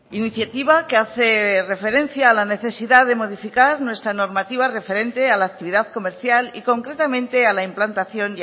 iniciativa que hace referencia a la necesidad de modificar nuestra normativa referente a la actividad comercial y concretamente a la implantación